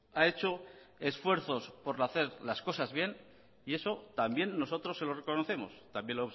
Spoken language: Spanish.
ha hecho esfuerzos por hacer las cosas bien y eso también nosotros se lo reconocemos también